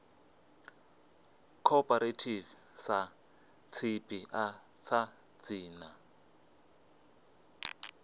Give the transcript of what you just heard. cooperative sa tshipiḓa tsha dzina